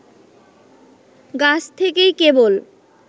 গাছ থেকেই কেবল